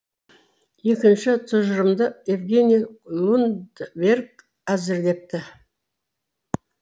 екінші тұжырымды евгений лундберг әзірлепті